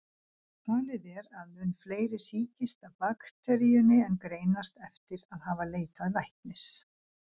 Talið er að mun fleiri sýkist af bakteríunni en greinast eftir að hafa leitað læknis.